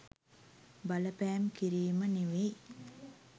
බලපෑම් කිරීම නෙවෙයි.